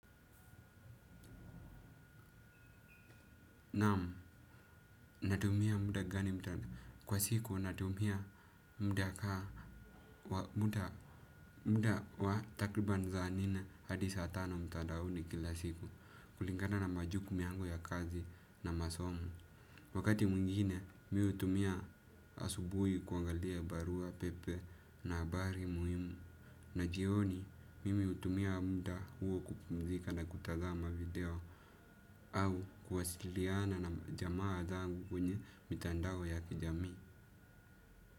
Naamu, natumia muda gani mtandao, kwa siku natumia muda kaa, muda, muda wa takriban zaa nne hadi saa tano mtadaoni kila siku, kulinkana na majuku miangu ya kazi na masomo. Wakati mwingine mi utumia asubui kuangalia barua pepe na abari muhimu. Na jioni mimi utumia muda huo kupumzika na kutazama video au kuwasiliana na jamaa zangu kwenye mitandao ya kijamii.